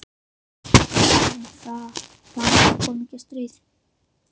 Hvað um það- bara það komi ekki stríð.